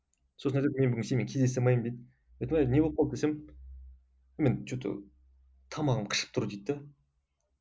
сосын айтады мен бүгін сенімен кездесе алмаймын дейді мен айтамын не болып қалды десем мен что то тамағым қышып тұр дейді де